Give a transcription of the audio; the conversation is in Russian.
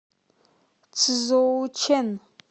цзоучэн